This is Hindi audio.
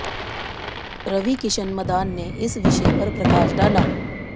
रवि किरन मदान ने इस विषय पर प्रकाश डाला